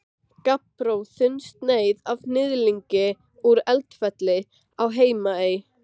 Gabbró, þunnsneið af hnyðlingi úr Eldfelli á Heimaey.